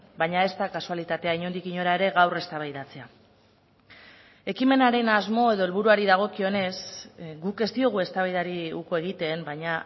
baina ez da kasualitatea inondik inora ere gaur eztabaidatzea ekimenaren asmo edo helburuari dagokionez guk ez diogu eztabaidari uko egiten baina